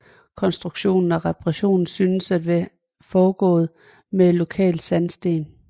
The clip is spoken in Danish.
Konstruktion og reparation synes at være foregået med lokal sandsten